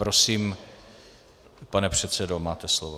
Prosím, pane předsedo, máte slovo.